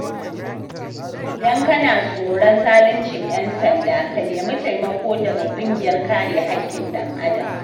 Idan kana tsoron zaluncin 'yan sanda ka nemi taimako daga ƙungiyar kare haƙƙin ɗan Adam.